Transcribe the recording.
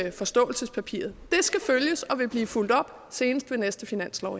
i forståelsespapiret det skal følges og vil blive fulgt op senest ved næste finanslov